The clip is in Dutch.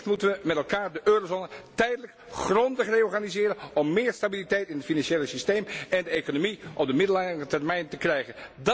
Wellicht moeten we met elkaar de eurozone tijdelijk grondig reorganiseren om meer stabiliteit in het financiële systeem en de economie op de middellange termijn te krijgen.